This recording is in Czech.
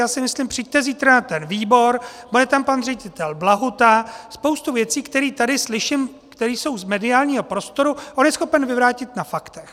Já si myslím, přijďte zítra na ten výbor, bude tam pan ředitel Blahuta, spoustu věcí, které tady slyším, které jsou z mediálního prostoru, on je schopen vyvrátit na faktech.